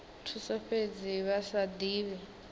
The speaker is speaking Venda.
thuso fhedzi vha sa divhi